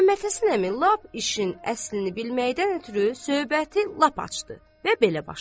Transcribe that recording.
Məmmədhəsən əmi lap işin əslini bilməkdən ötrü söhbəti lap açdı və belə başladı.